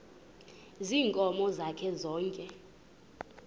ziinkomo zakhe zonke